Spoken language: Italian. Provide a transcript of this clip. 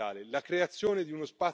dell'economia digitale.